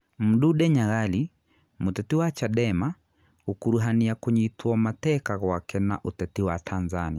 Mdude Nyagali: Mũteti wa Chadema gũkuruhania kũnyitwo mateka gwake na ũteti wa Tanzania